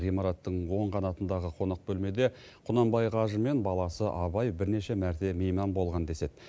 ғимараттың оң қанатындағы қонақ бөлмеде құнанбай қажы мен баласы абай бірнеше мәрте мейман болған деседі